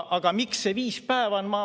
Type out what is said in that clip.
Aga miks see viis päeva on?